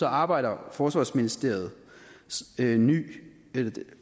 arbejder forsvarsministeriets nyt